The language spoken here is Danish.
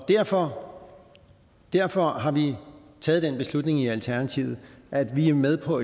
derfor derfor har vi taget den beslutning i alternativet at vi er med på